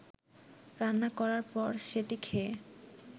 রান্না করার পর সেটি খেয়ে